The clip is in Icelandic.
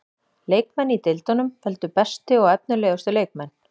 Leikmenn í deildunum völdu bestu og efnilegustu leikmenn.